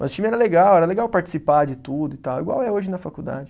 Mas o time era legal, era legal participar de tudo e tal, igual é hoje na faculdade.